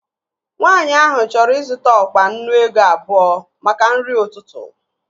Nwaanyi ahụ chọrọ ịzụta ọkpa nnu ego abụọ maka nri ụtụtụ